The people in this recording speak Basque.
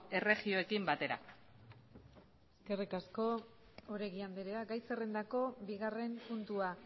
erregioekin batera eskerrik asko oregi anderea gai zerrendako bigarren puntua